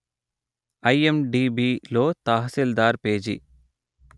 ఐఎమ్డిబిలో Tahsildar page